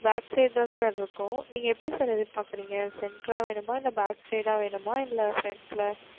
backside தா sir இருக்கும் நீங்க எப்டி sir எதிர் பாக்குறேங்க center அ வேணுமா இல்ல backside அ வேணுமா இல்ல front ல